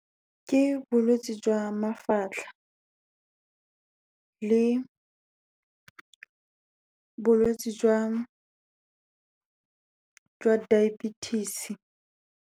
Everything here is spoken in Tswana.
Ke bolwetsi jwa mafatlha le bolwetsi jwa diabetes.